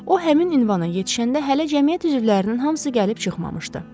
O həmin ünvana yetişəndə hələ cəmiyyət üzvlərinin hamısı gəlib çıxmamışdı.